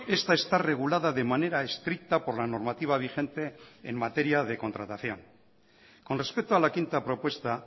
esta está regulada de manera estricta por la normativa vigente en materia de contratación con respecto a la quinta propuesta